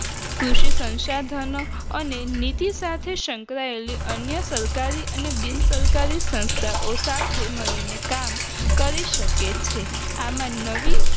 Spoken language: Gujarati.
કૃષિ સસંસાધનો અને નીતિ સાથે સંકળાયેલી અન્ય સરકારી અને બિન સરકારી સંસ્થાઓ સાથે મળીને કામ કરી શકે છે આમાં નવી